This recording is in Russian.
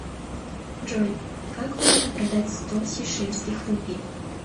джой как выгодно продать сто сейшельских рупий